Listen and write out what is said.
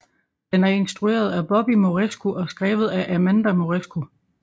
Den er instrueret af Bobby Moresco og skrevet af Amanda Moresco